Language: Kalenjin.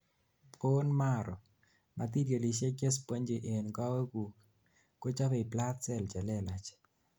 bone marrow, matirialisiek chespongy en kowek guk ,kochobei blood cells chelelach